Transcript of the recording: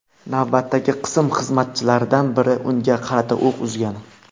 Navbatchi qism xizmatchilaridan biri unga qarata o‘q uzgan.